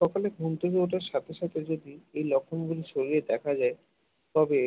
সকালে ঘুম থেকে ওঠার সাথে সাথে যে এই লক্ষণ গুলি শরীরে দেখা যায় তবে